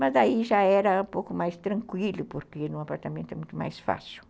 Mas aí já era um pouco mais tranquilo, porque num apartamento é muito mais fácil.